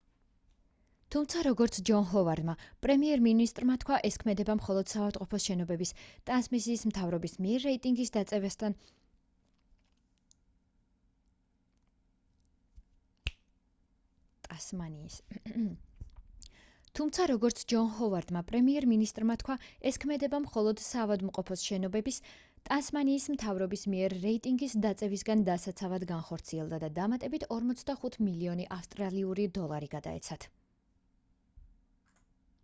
თუმცა როგორც ჯონ ჰოვარდმა პრემიერ მინისტრმა თქვა ეს ქმედება მხოლოდ საავადმყოფოს შენობების ტასმანიის მთავრობის მიერ რეიტინგის დაწევისგან დასაცავად განხორციელდა და დამატებით 45 მილიონი ავსტრალიური დოლარი გადაეცათ